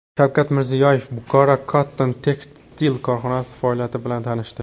Shavkat Mirziyoyev Bukhara Cotton Textile korxonasi faoliyati bilan tanishdi.